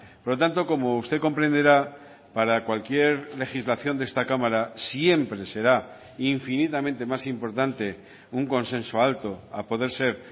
por lo tanto como usted comprenderá para cualquier legislación de esta cámara siempre será infinitamente más importante un consenso alto a poder ser